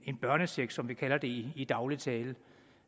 en børnecheck som vi kalder det i daglig tale